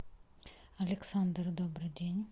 александр добрый день